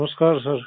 नमस्कार सर